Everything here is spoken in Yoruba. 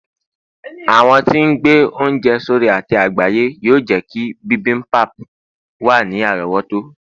àwọn tí n gbẹ ounjẹ sórí ate àgbáyé yíò jé kí bimbimbap wa ni àrówòtó